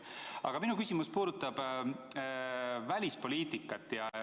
Aga minu küsimus puudutab välispoliitikat.